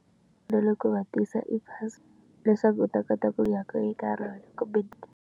Na le ku va tisa i bazi leswaku u ta kota ku ya ka eka rona kumbe.